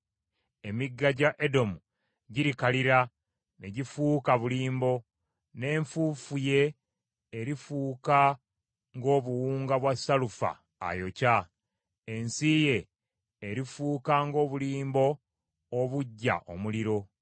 Emigga gya Edomu girikalira ne gifuuka bulimbo, n’enfuufu ye erifuuka ng’obuwunga bwa salufa ayokya. Ensi ye erifuuka ng’obulimbo obuggya omuliro.